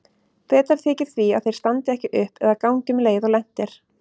Betra þykir því að þeir standi ekki upp eða gangi um leið og lent er.